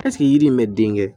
Ɛseke yiri in bɛ den kɛ